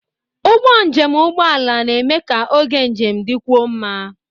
Ụgbọ njem ụgbọ ala na-eme ka oge njem dịkwuo mma.